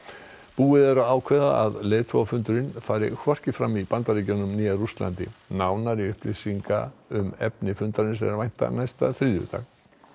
búið er að ákveða að leiðatogafundurinn fari hvorki fram í Bandaríkjunum né Rússlandi nánari upplýsinga um efni fundarins er að vænta næsta þriðjudag